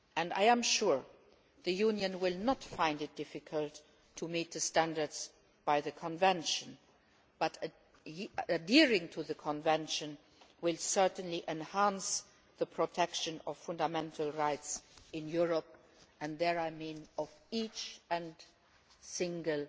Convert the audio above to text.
I am sure the Union will not find it difficult to meet the standards of the Convention, but adhering to the Convention will certainly enhance the protection of fundamental rights in Europe, and by this I mean of each and every single